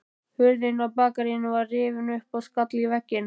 Hurðin á bakaríinu var rifin upp og skall í vegginn.